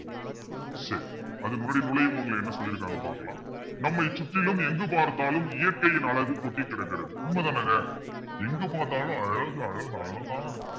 சரி அதுக்கு முன்னாடி என்ன சொல்லி இருக்காங்கன்னு பார்க்கலாம். நம்மை சுற்றிலும் எங்கு பார்த்தாலும் இயற்கையின் அழகு கொட்டிக் கிடக்கிறது. உண்மைதானேங்க எங்க பார்த்தாலும் அழகு அழகு அழகா இருக்கு.